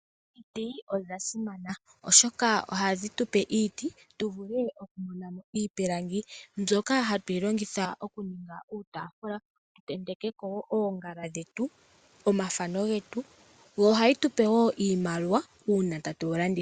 Omuti odha simana oshoka ohadhi tu pe iiti, tu vule oku mona mo iipilangi mbyoka hatuyi longitha okuninga uutaafula tu tentekeko oongala dhetu, omafano getu, yo ohayi tu pe wo iimaliwa una tatu yi longitha.